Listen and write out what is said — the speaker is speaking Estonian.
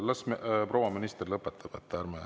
Las proua minister lõpetab.